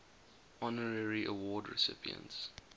honorary award recipients